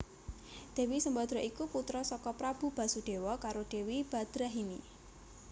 Dewi Sembadra iku putra saka Prabu Basudewa karo Dewi Badrahini